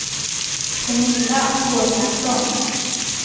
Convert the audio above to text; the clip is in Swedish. Pernilla Håkansson